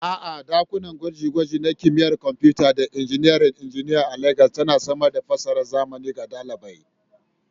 A'a, ɗakunan gwaje-gwaje na Kimiyyar Kwamfuta da Injiniyan Injiniya a Legas ba sa samar da fasahar zamani ga ɗalibai.